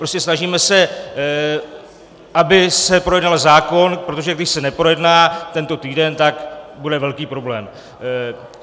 Prostě se snažíme, aby se projednal zákon, protože když se neprojedná tento týden, tak bude velký problém.